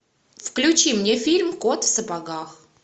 включи мне фильм кот в сапогах